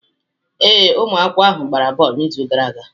Ee, ụmụ akwụkwọ ahụ agbara bọọlụ n'izu gara aga.